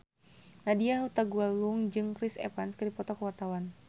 Nadya Hutagalung jeung Chris Evans keur dipoto ku wartawan